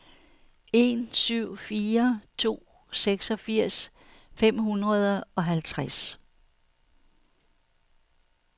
en syv fire to seksogfirs fem hundrede og halvtreds